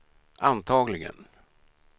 antagligen